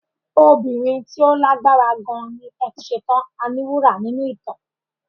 Obìnrin tí ó lágbára gan ni Ẹfúnṣetán Aníwúrà nínú ìtàn.